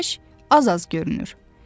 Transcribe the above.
Günəş az-az görünür.